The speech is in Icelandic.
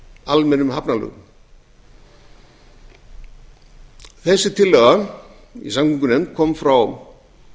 almennum hafnalögum þessi tillaga í samgöngunefnd kom frá